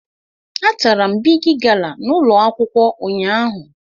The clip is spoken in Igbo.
Atara m Bigi gala n' ụlọ akwụkwọ ụnyaahụ